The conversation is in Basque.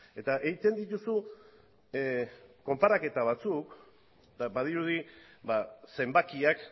eta egiten dituzu konparaketa batzuk eta badirudi zenbakiak